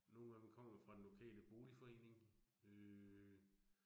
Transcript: Nogle af dem kommer fra den lokale boligforening øh